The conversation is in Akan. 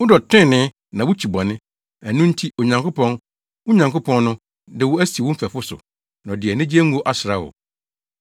Wodɔ trenee, na wukyi bɔne, ɛno nti Onyankopɔn, wo Nyankopɔn no, de wo asi wo mfɛfo so, na ɔde anigye ngo asra wo.”